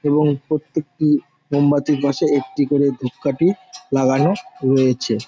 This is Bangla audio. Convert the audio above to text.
এবং প্রত্যেকে মোমবাতির পাশে একটি করে ধুপ কাঠি লাগানো রয়েছে ।